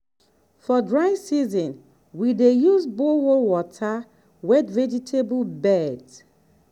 for dry season we dey use borehole water wet vegetable beds